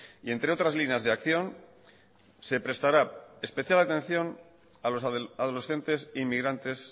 y entre otras líneas de acción se prestará especial atención a los adolescentes inmigrantes